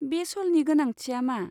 बे श'लनि गोनांथिया मा?